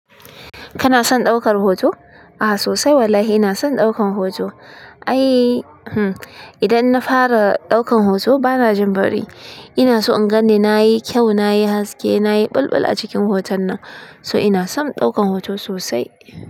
Kana son ɗaukar hoto? Ah sosai wallahi ina son ɗaukan hoto. Ai, hm idanna fara ɗaukan hoto bana jin bari. Ina so in ganni nayi kyau, nayi haske, nayi bulbul a cikin hoton nan. So ina son ɗaukan hoto sosai.